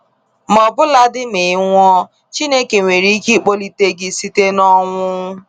Ma ọbụladị ma ị nwụọ, Chineke nwere ike ikpọlite gị site n’ọnwụ.